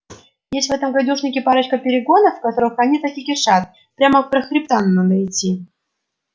есть в этом гадюшнике парочка перегонов в которых они так и кишат прямо про хребтам надо идти